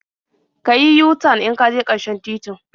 Ka yi yu-tan in ka je ƙarshen titin.